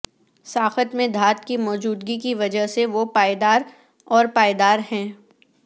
ساخت میں دھات کی موجودگی کی وجہ سے وہ پائیدار اور پائیدار ہیں